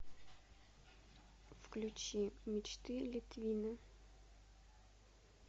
включи мечты литвина